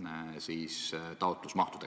taotlusmahtudega.